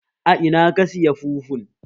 A Ina ka saya fufun?